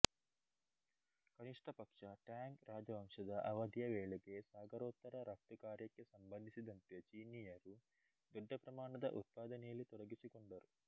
ಕನಿಷ್ಟಪಕ್ಷ ಟ್ಯಾಂಗ್ ರಾಜವಂಶದ ಅವಧಿಯ ವೇಳೆಗೆ ಸಾಗರೋತ್ತರ ರಫ್ತುಕಾರ್ಯಕ್ಕೆ ಸಂಬಂಧಿಸಿದಂತೆ ಚೀನಿಯರು ದೊಡ್ಡಪ್ರಮಾಣದ ಉತ್ಪಾದನೆಯಲ್ಲಿ ತೊಡಗಿಸಿಕೊಂಡರು